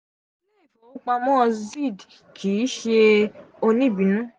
ìlè ìfowòpamo z kii ṣe onibinu.